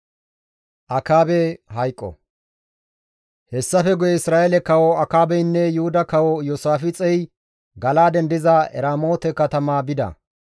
Hessafe guye Isra7eele kawo Akaabeynne Yuhuda kawo Iyoosaafixey Gala7aaden diza Eramoote katama bida.